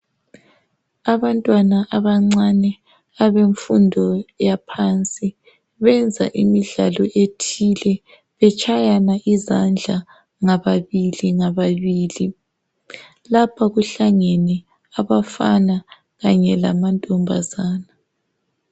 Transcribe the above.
Abantwana abancane abemfundo yaphansi benza imidlalo ethile betshayana izandla ngababili ngababili. lapha kuhlangene abafana kanye lamantombazane.